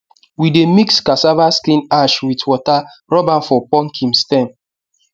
we dey mix cassava skin ash with water rub am for pumpkin stem